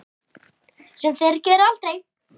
Sem þeir gera aldrei!